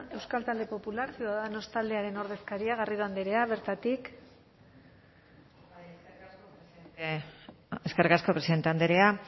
euskal talde popular ciudadanos taldearen ordezkaria garrido andrea bertatik eskerrik asko presidente andrea